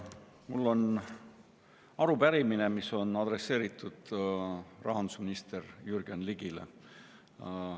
Mul on arupärimine, mis on adresseeritud rahandusminister Jürgen Ligile.